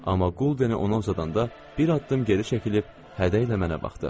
Amma quldeni ona uzadanda bir addım geri çəkilib hədə ilə mənə baxdı.